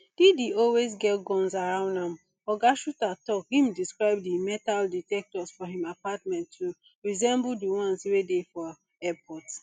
diddy always get guns around am oga shuter tok im describe di metal detectors for im apartment to resemble di ones wey dey for airport